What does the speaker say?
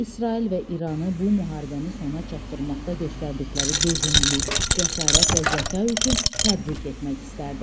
İsrail və İranı bu müharibəni sona çatdırmaqda göstərdikləri dözümlülük, cəsarət və zəka üçün təbrik etmək istərdim.